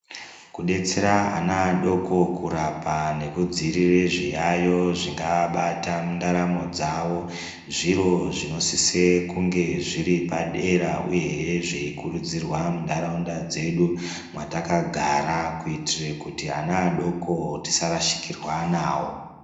Kudetsera ana adoko kurapa nekudzirira zviyayo zvingaabata mundaramo dzavo. Zviro zvinosise kunge zviri padera, uyehe zveikurudzirwa muntaraunda dzedu mwatakagara. Kuitire kuti ana adoko tisarashikirwa vavo.